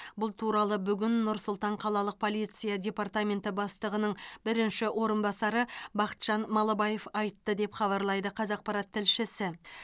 бұл туралы бүгін нұр сұлтан қалалық полиция департаменті бастығының бірінші орынбасары бақытжан малыбаев айтты деп хабарлайды қазақпарат тілшісі